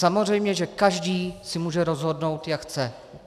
Samozřejmě že každý se může rozhodnout, jak chce.